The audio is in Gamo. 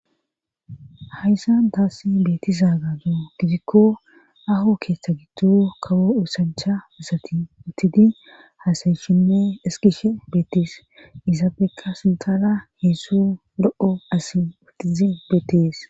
hayssan taassi beettiza gado gidikko aho keeththa giddo kawo osancha asati uttidi haasayishinne ezigishe beettees izabekka sintara heezhzhu lo'o asi utidi beettees